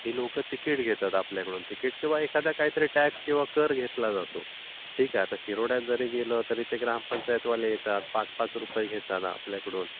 लोकं ती टिकिट घेतात आपल्याकडून. टिकिट किंवा एखादा टॅक्स किंवा कर घेतला जातो आपल्याकडून. ठीक आहे. शिरोडयात जारी गेलं तरी ते ग्रामपंचायत वाले येतात, पाच रुपये घेतात आपल्याकडून.